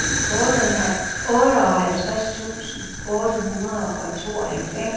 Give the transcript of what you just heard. otteoghalvtreds tusind otte hundrede og tooghalvfems